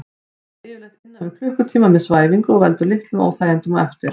Það tekur yfirleitt innan við klukkutíma með svæfingu og veldur litlum óþægindum á eftir.